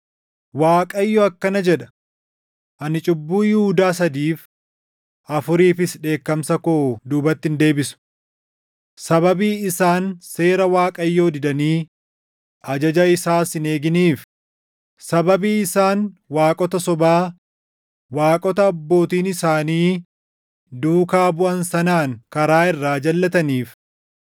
Waaqayyo akkana jedha: “Ani cubbuu Yihuudaa sadiif, afuriifis dheekkamsa koo duubatti hin deebisu. Sababii isaan seera Waaqayyoo didanii ajaja isaas hin eeginiif, sababii isaan waaqota sobaa, waaqota abbootiin isaanii duukaa buʼan sanaan // karaa irraa jalʼataniif,